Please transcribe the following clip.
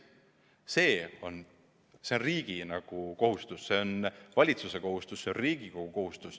See on riigi kohustus, see on valitsuse kohustus, see on Riigikogu kohustus.